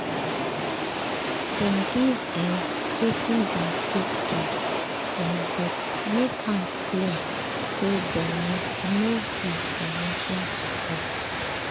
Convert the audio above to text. dem give um wetin dem fit give um but make am clear say dem um no be financial support